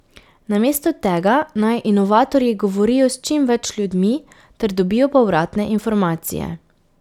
Namesto tega naj inovatorji govorijo s čim več ljudmi ter dobijo povratne informacije.